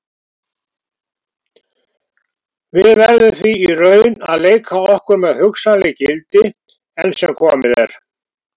Við verðum því í raun að leika okkur með hugsanleg gildi, enn sem komið er.